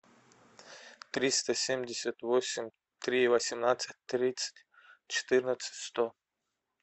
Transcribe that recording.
триста семьдесят восемь три восемнадцать тридцать четырнадцать сто